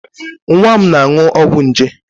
Nwa m na-aṅụ ọgwụ nje.